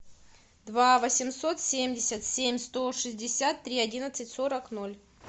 два восемьсот семьдесят семь сто шестьдесят три одиннадцать сорок ноль